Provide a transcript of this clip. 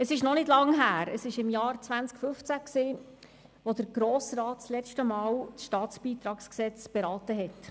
Es ist noch nicht so lange her, es war im Jahr 2015, als der Grosse Rat letztmals das StBG beraten hat.